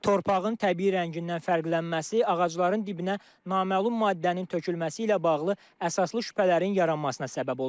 Torpağın təbii rəngindən fərqlənməsi, ağacların dibinə naməlum maddənin tökülməsi ilə bağlı əsaslı şübhələrin yaranmasına səbəb olur.